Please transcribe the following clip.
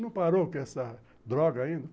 Não parou com essa droga ainda?